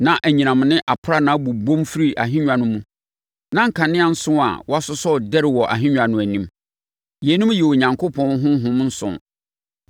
Na anyinam ne aprannaa bobom firi ahennwa no mu. Na nkanea nson a wɔasosɔ redɛre wɔ ahennwa no anim. Yeinom yɛ Onyankopɔn ahonhom nson.